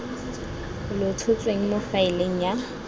lo tshotsweng mo faeleng ya